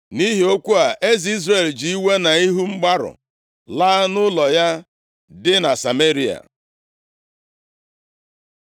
Nʼihi okwu a, eze Izrel ji iwe na ihu mgbarụ laa nʼụlọ ya dị na Sameria.